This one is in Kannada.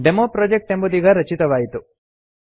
ಡೆಮೊಪ್ರೊಜೆಕ್ಟ್ ಎಂಬುದೀಗ ರಚಿತವಾಯಿತು